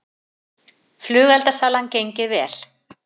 Flugeldasalan gengið vel